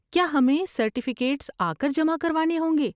کیا ہمیں سرٹیفکیٹس آ کر جمع کروانے ہوں گے؟